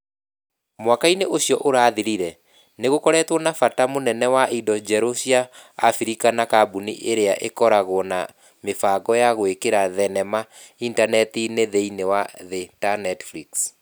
Mwaka-inĩ ũcio ũrathirire, nĩ gũkoretwo na bata mũnene wa indo njerũ cia abirika nĩ kambũni iria ĩkoragwo na mibango wa gũĩkĩra thenema initaneti-inĩ thĩinĩ wa thĩ ta Netflix.